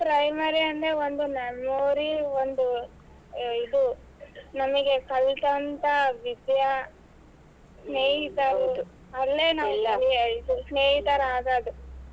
Primary ಅಂದ್ರೆ ಒಂದು memory ಒಂದು ಇದು ನಮಗೆ ಕಲತಂತಾ ವಿದ್ಯಾ ಸ್ನೇಹಿತರು ಅಲ್ಲೇ ನಾವ್ ಸ್ನೇಹಿತರಾದಾಗ.